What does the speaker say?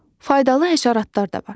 Faydalı həşəratlar da var.